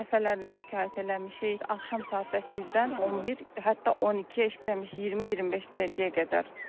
Dəfələrlə şikayət eləmişik, axşam saat 8-dən 11, hətta 12 işləmiş 20-25 dəqiqəyə qədər.